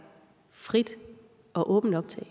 frit og åbent optag og